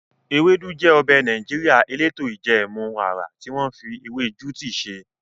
Ewedu jẹ ọbẹ̀ Nàìjíríà eleto ijẹẹmu ara tí wọ́n fi ewé juti ṣe.